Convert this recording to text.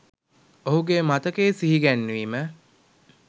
ඔහුගේ මතකය සිහිගැන්වීම